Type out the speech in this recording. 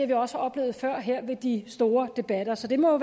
vi også oplevet før ved de store debatter så det må